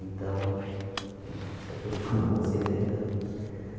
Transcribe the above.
Então a gente se acostumou com essa ideia também.